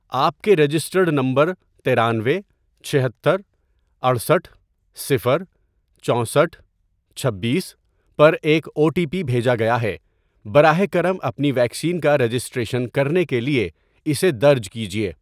آپ کے registered number ترانوے ،چھہتر، اٹھسٹھ ،صفر، چوسٹھ ،چھبیس، پر ایک او ٹی پی بھیجا گیا ہے، براہ کرم اپنی ویکسین کا رجسٹریشن کرنے کے لیے اسے درج کیجیے